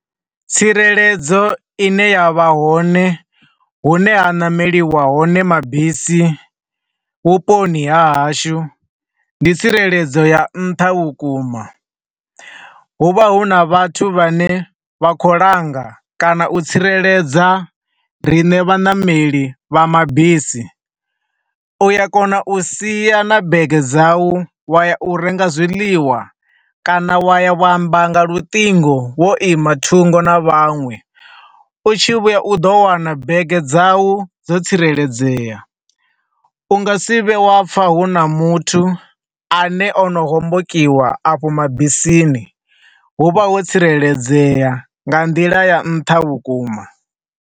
Tsireledzo ine yavha hone hune ha ṋameliwa hone mabisi vhuponi ha hashu, ndi tsireledzo ya nṱha vhukuma. Hu vha hu na vhathu vha ne vha khou langa kana u tsireledza rine vhaṋameli vha mabisi, u a kona u sia na bege dza u wa ya u renga zwiḽiwa kana wa ya wa amba nga luṱingo wo ima thungo na vhanwe, u tshi vhuya u ḓo wana bege dza wu dzo tsireledzea. U nga si vhe wa pfa huna muthu a ne ono hombokiwa a fho mabisini, hu vha ho tsireledzea nga nḓila ya nṱha vhukuma.